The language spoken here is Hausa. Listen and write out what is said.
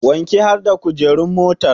Wanke har da kujeru motar